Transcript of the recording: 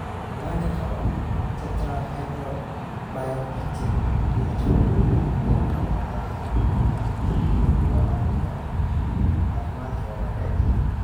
Dhallaanka qaba tetrahydrobiopterin (BH4) yaraanta waxay caadi ahaan u muuqdaan kuwo caadi ah oo caafimaad qaba markay dhashaan.